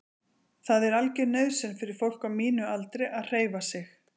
Það er algjör nauðsyn fyrir fólk á mínum aldri að hreyfa sig.